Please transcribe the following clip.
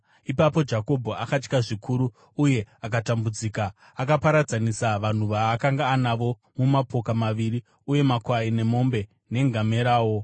Ipapo Jakobho akatya zvikuru uye akatambudzika, akaparadzanisa vanhu vaakanga anavo mumapoka maviri, uye makwai nemombe nengamerawo.